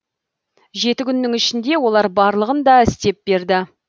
жеті күннің ішінде олар барлығын да істеп берді